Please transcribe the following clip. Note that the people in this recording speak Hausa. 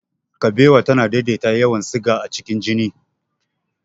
Kabewa tana daidaita yawan siga a cikin jini.